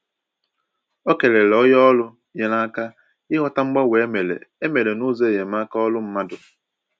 Ọ kelere onye ọrụ nyere ya aka ịghọta mgbanwe e mere e mere n’ụzọ enyemaka ọrụ mmadụ